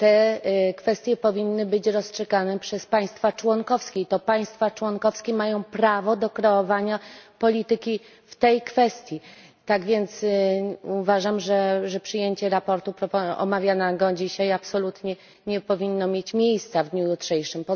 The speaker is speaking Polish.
Te kwestie powinny być rozstrzygane przez państwa członkowskie i to państwa członkowskie mają prawo do kreowania polityki w tej kwestii, tak więc uważam, że przyjęcie sprawozdania omawianego dzisiaj absolutnie nie powinno mieć miejsca w dniu jutrzejszym.